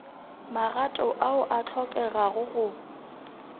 magato ao a hlokegago go